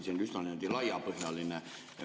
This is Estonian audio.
See on üsna laiapõhjaline.